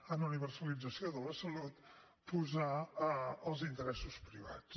en universalització de la salut els interessos privats